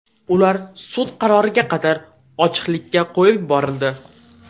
Ular sud qaroriga qadar ochiqlikka qo‘yib yuborildi.